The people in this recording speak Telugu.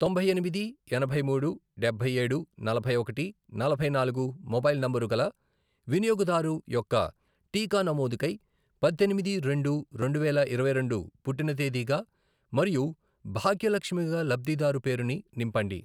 తొంభై ఎనిమిది, ఎనభై మూడు, డబ్బై ఏడు, నలభై ఒకటి, నలభై నాలుగు, మొబైల్ నంబరు గల వినియోగదారు యొక్క టీకా నమోదుకై పద్దెనిమిది రెండు రెండువేల ఇరవై రెండు పుట్టిన తేదీగా మరియు భాగ్యలక్ష్మిగా లబ్ధిదారు పేరుని నింపండి.